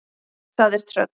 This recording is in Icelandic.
Það er tröll.